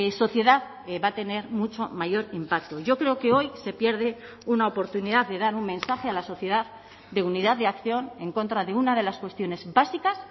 sociedad va a tener mucho mayor impacto yo creo que hoy se pierde una oportunidad de dar un mensaje a la sociedad de unidad de acción en contra de una de las cuestiones básicas